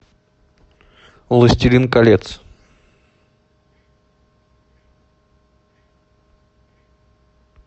властелин колец